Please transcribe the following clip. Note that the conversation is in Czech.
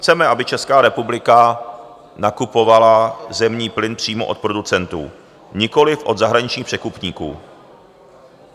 Chceme, aby Česká republika nakupovala zemní plyn přímo od producentů, nikoliv od zahraničních překupníků.